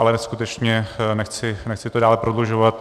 Ale skutečně nechci to dále prodlužovat.